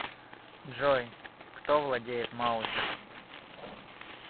джой кто владеет маузер